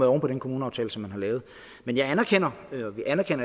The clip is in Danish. oven på den kommuneaftale som man har lavet men vi anerkender